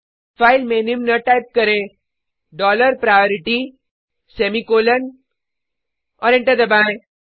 file में निम्न type करें डॉलर प्रायोरिटी सेमीकॉलन और एंटर दबाएँ